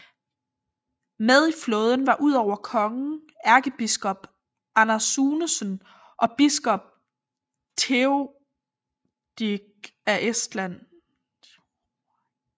Med i flåden var ud over kongen ærkebiskop Anders Sunesen og biskop Theoderik af Estland